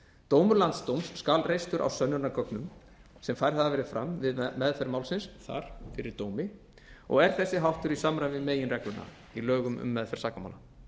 dómur landsdóms skal reistur á sönnunargögnum sem færð hafa verið fram við meðferð málsins þar fyrir dómi og er þessi háttur í samræmi ið meginregluna í lögum um meðferð sakamála